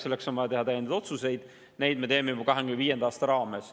Seetõttu on vaja teha täiendavaid otsuseid, neid me teeme juba 2025. aastaks.